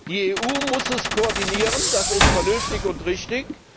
Die EU muss es koordinieren das ist vernünftig und richtig.